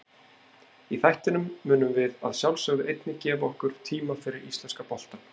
Í þættinum munum við að sjálfsögðu einnig gefa okkur tíma fyrir íslenska boltann.